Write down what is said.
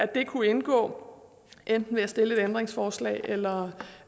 det kunne indgå enten ved et ændringsforslag eller